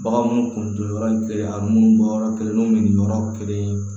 Baganw kun to yɔrɔ kelen a munnu bɔyɔrɔ kelen bɛ nin yɔrɔ kelen